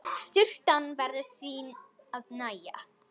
Sturtan verður því að nægja.